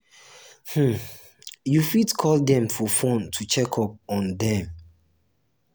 um you fit call dem for phone to check up um on um dem